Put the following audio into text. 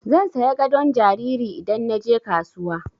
Zan saya gadon jariri idan na je kasuwa.